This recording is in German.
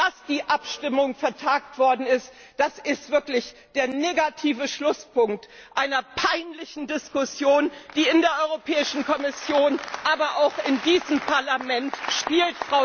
Dass die Abstimmung vertagt worden ist, das ist wirklich der negative Schlusspunkt einer peinlichen Diskussion, die in der Kommission, aber auch in diesem Parlamentgeführt wird.